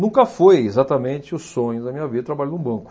Nunca foi exatamente o sonho da minha vida, trabalhar num banco.